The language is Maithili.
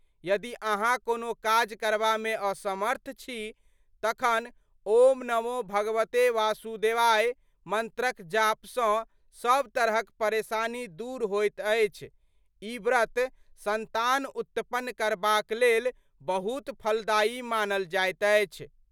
यदि अहाँ कोनो काज करबा मे असमर्थ छी तखन ॐ नमो भगवते वासुदेवाय मंत्रक जाप सँ सब तरहक परेशानी दूर होइत अछिई व्रत संतान उत्पन्न करबाक लेल बहुत फलदायी मानल जाइत अछि।